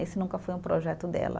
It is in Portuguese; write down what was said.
Esse nunca foi um projeto dela.